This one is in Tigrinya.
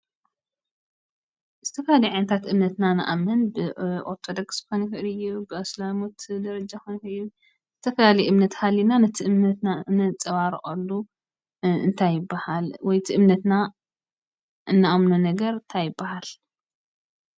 ዝተፈላለዩ ዓይነታት እምነት ኢና ንኣምን ።ኦርቶዶክስ ክኮን ይክእል እዩ፣ ኣሰላም ደረጃ ክኮን ይክእል እዩ፣ ዝተፈላለዩ እምነት ሃሊና ነቲ እምነትና ነፃባርቀሉ እንታይ ይበሃል ? ወይ እቲ እምነትና እንኣምኖ ነገር እንታይ ይበሃል ?